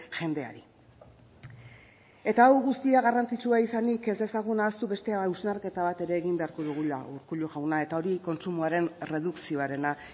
jendeari eta hau guztia garrantzitsua izanik ez dezagun ahaztu beste hausnarketa bat ere egin beharko dugula urkullu jauna eta hori kontsumoaren erredukzioarena